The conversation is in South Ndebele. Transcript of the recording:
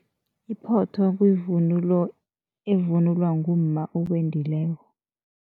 Iphotho kuyivunulo evunulwa ngumma owendileko.